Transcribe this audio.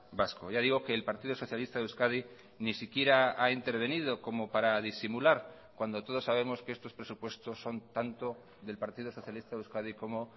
vasco ya digo que el partido socialista de euskadi ni siquiera ha intervenido como para disimular cuando todos sabemos que estos presupuestos son tanto del partido socialista de euskadi como